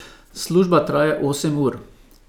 Služba traja osem ur!